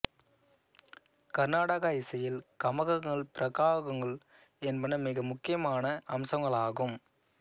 கர்நாடக இசையில் கமகங்கள் பிருகாக்கள் என்பன மிக முக்கியமான அம்சங்களாகும்